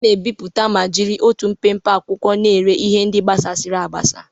A na-ebipụta ma jiri otu mpempe akwụkwọ na-ere ihe ndị gbasasịrị agbasa.